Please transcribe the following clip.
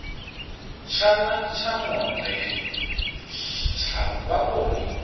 tshana tsha monde tsha vhavhoni